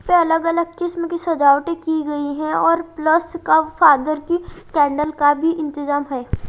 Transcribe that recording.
अलग-अलग किस्म की सजावटें की गई है और प्लस का फादर की कैंडल का भी इंतजाम है।